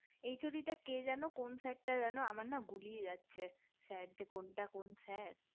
HOD টা কে যেন কোন sir টা যেন আমার না গুলিয়ে যাচ্ছে sir যে কোনটা কোন sir